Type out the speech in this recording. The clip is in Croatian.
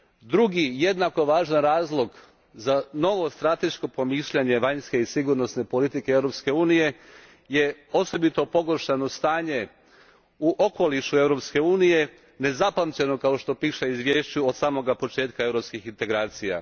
Drugi, jednako važan razlog za novo strateško promišljanje vanjske i sigurnosne politike Europske unije, osobito je pogoršano stanje u okolišu Europske unije, nezapamćeno, kao što piše u izvješću, od samoga početka europskih integracija.